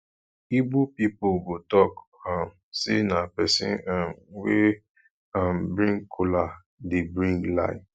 igbo pipol go talk um say na pesin um wey um bring kola dey bring life